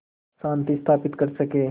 शांति स्थापित कर सकें